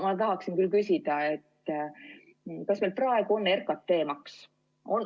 Ma tahaksin küll küsida, et kas meil praegu on RKT‑maks.